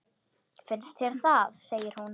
Finnst þér það, segir hún.